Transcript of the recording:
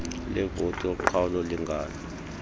levoti yoqhawulo lingano